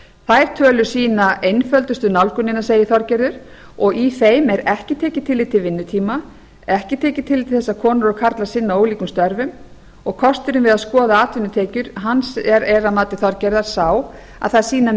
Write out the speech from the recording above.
þær tölur sýna einföldustu nálgunina segir þorgerður og í þeim er ekki tekið tillit til vinnutíma ekki tekið tillit til þess að konur og karlar sinna ólíkum störfum og kosturinn við að skoða atvinnutekjur er að mati þorgerðar sá að þær sýna